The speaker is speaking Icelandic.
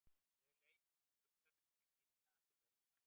Ég leit út um gluggann upp í hlíðina fyrir ofan bæinn.